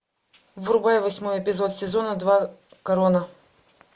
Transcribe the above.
врубай восьмой эпизод сезона два корона